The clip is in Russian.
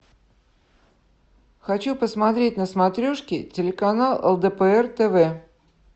хочу посмотреть на смотрешке телеканал лдпр тв